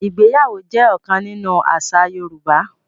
Ìgbéyàwó jẹ́ ọ̀kan nínú àṣà Yorùbá.